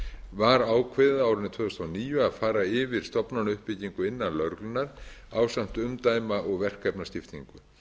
var ákveðið á árinu tvö þúsund og níu að fara yfir stofnanauppbyggingu innan lögreglunnar ásamt umdæma og verkefnaskiptingu